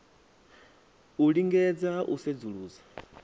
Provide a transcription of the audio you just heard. u lingedza ha u sedzulusa